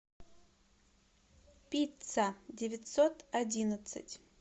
пицца девятьсот одиннадцать